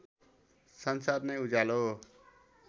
संसार नै उज्यालो